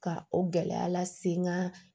Ka o gɛlɛya lase n ka